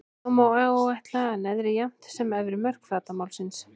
Þá má áætla neðri jafnt sem efri mörk flatarmálsins.